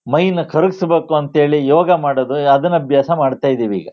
ಮೈ ನ ಕರಗ್ಸ್ ಬೇಕು ಅಂತ ಹೇಳಿ ಯೇಗ ಮಾಡೋದು ಅದನ್ ಅಭ್ಯಾಸ ಮಾಡ್ತಾ ಇದೀವಿ ಈಗ.